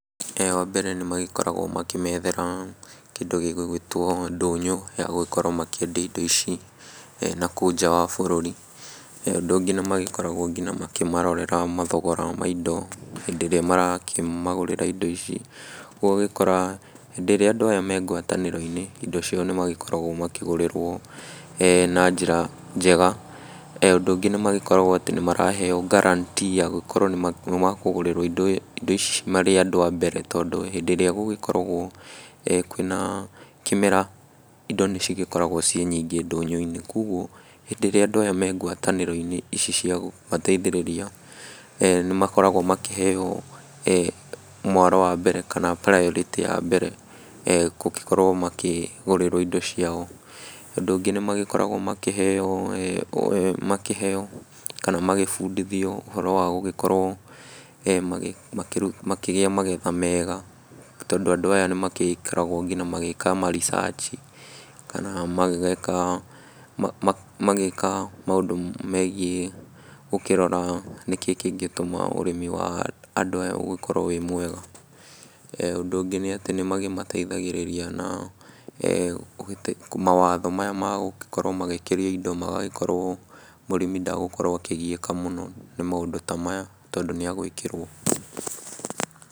Wa mbere nĩmagĩkoragwo magĩkĩmethera kĩndũ gĩgũgĩtwo ndũnyũ ya gũkorwo makĩendia indo ici, nakũu nja bũrũri, ũndũ ũngĩ nĩmakoragwo nginya makĩmarorera mathogora ma indo, hĩndĩ ĩrĩa marakĩmagũrĩra indo ici, ũgagĩkora, hĩndĩ ĩrĩa andũ aya me ngwatanĩro-inĩ indo ciao nĩmagĩkoragwo makĩgũrĩrwo na njĩra njega, ũndũ ũngĩ nĩmagĩkoragwo atĩ nĩmaraheo guarantee ya gũkorwo nĩma nĩmakũgũrĩrwo indo ici marĩ andũ a mbere, tondũ hĩndĩ ĩrĩa gũgĩkoragwo kwĩ na kĩmera, indo nĩcigĩkoragwo ciĩ nyingĩ ndũnyũ-inĩ, koguo, hĩndĩ ĩrĩa andũ aya me ngwatanĩro-inĩ ici cia kũmateithĩrĩria, nĩmakoragwo makĩheo, mwaro wa mbere kana priority ya mbere, kũkĩkorwo makĩgũrĩrwo indo ciao, ũndũ ũngĩ nĩmagĩkoragwo makĩheo, makĩheo, kana magĩbundithio ũhoro wa gũgĩkorwo magĩ makĩ makĩgĩa magetha mega, tondũ andũ aya nĩmakĩkoragwo nginya magĩka ma research kana magĩgĩka ma, magĩka maũndũ megiĩ, ũkĩrora nĩkĩĩ kĩngĩtũma ũrĩmi wa andũ aya gũkorwo wĩ mwega, ũndũ ũngĩ nĩ atĩ nĩmagĩmateithagĩrĩria na kũgi mawatho maya magũkĩria indo magagĩkorwo mũrĩmi ndagũkorwo akĩgiĩka mũno nĩ maũndũ ta maya, tondũ nĩagwĩkĩrwo.